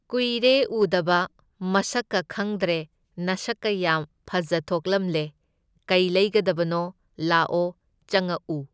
ꯀꯨꯏꯔꯦ ꯎꯗꯕ, ꯃꯁꯛꯀ ꯈꯪꯗ꯭ꯔꯦ ꯅꯁꯛꯀ ꯌꯥꯝ ꯐꯖꯊꯣꯛꯂꯝꯂꯦ, ꯀꯩ ꯂꯩꯒꯗꯕꯅꯣ ꯂꯥꯛꯑꯣ ꯆꯪꯉꯛꯎ꯫